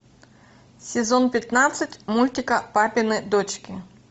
сезон пятнадцать мультика папины дочки